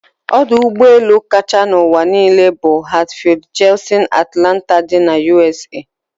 Odụ ụgbọ elu kacha n'ụwa n'ile bu Hartsfield-Jackson Atlanta dị na ụsa